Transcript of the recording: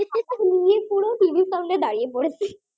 পুরো টিভির সামনে দাঁড়িয়ে পড়েছি